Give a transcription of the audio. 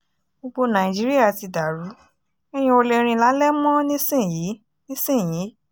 gbogbo nàìjíríà ti dàrú èèyàn ò lè rìn lálẹ́ mọ́ nísìnyìí nísìnyìí